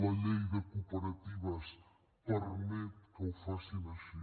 la llei de cooperatives permet que ho facin així